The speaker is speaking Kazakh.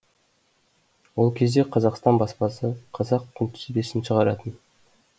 ол кезде қазақстан баспасы қазақ күнтізбесін шығаратын